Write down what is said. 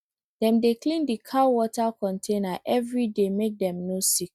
dem dey clean the cow water container every day make dem no sick